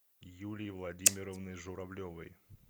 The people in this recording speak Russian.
юлии владимировны журавлевой